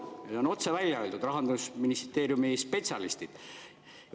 Seda on otse välja öelnud Rahandusministeeriumi spetsialistid.